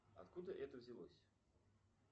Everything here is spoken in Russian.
откуда это взялось